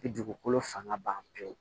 Bi dugukolo fanga ban pewu